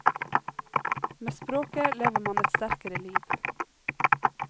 Med språket lever man et sterkere liv.